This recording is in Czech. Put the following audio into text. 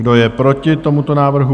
Kdo je proti tomuto návrhu?